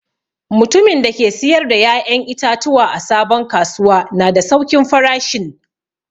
Mutumin da ke siyar da ya'yan itatuwa a sabon kasuwa na da saukin farashin.